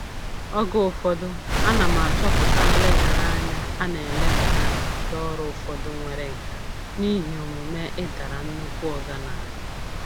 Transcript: Oge ụfọdụ, ana m achọpụta nlegharanya a na-eleghara ndị ọrụ ụfọdụ nwere nkà n'ihi omume "ịdara nnukwu oga n'ala".